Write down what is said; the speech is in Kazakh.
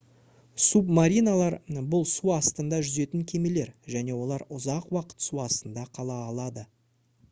субмариналар бұл су астында жүзетін кемелер және олар ұзақ уақыт су астында қала алады